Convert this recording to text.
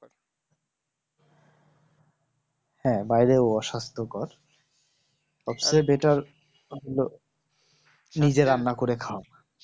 হ্যাঁ বাইরে অসুস্থ কর ওর থেকে better ব নিজে রান্না করে খাওয়া